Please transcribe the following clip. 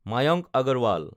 Mayank Agarwal